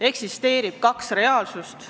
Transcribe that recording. Eksisteerivad kaks reaalsust.